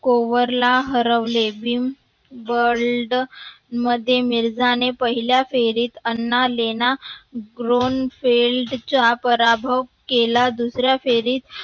कोवरला हरवले vim world मध्ये मिर्झा ने पहिल्या फेरीत anna lena gronefeld पराभव केला. दुसऱ्या फेरीत